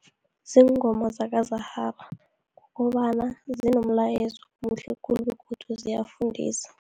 Ziingoma zakaZahara, kukobana zinomlayezo omuhle khulu begodu ziyafundisa.